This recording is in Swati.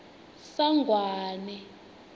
sangwane